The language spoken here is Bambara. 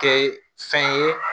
Kɛ fɛn ye